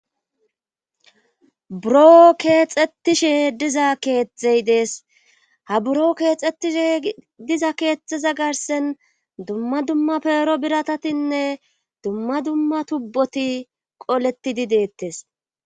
Buroo keexxetishe diza keethey dees ha buro keexxetishe diza keexteza garsen dumma dumma peero biratatinne dumma dumma tubboti qoletidi deettes.